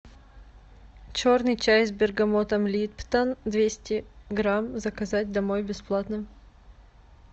черный чай с бергамотом липтон двести грамм заказать домой бесплатно